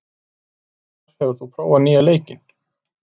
Ásar, hefur þú prófað nýja leikinn?